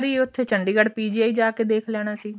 ਉੱਥੇ ਚੰਡੀਗੜ PGI ਜਾ ਕੇ ਦੇਖ ਲੈਣਾ ਸੀ